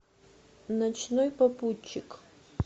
ночной попутчик